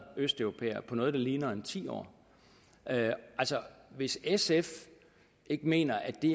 østeuropæere på noget der ligner ti år altså hvis sf ikke mener at det